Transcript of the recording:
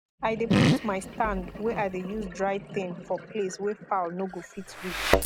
i de put my stand wey i de use dry thing for place wey fowl no go fit reach